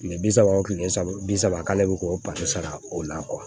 Kile bi saba o kile saba bi saba k'ale bɛ k'o pata sara o la